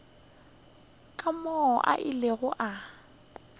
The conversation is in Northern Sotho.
ka moo a ilego a